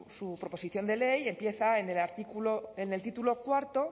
su proposición de ley empieza en el artículo en el título cuarto